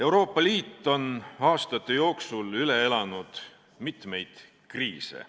Euroopa Liit on aastate jooksul üle elanud mitmeid kriise.